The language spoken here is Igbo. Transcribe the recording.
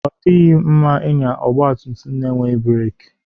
Ọ dịghị mma ịnya ọgba tum tum na-enweghị breek.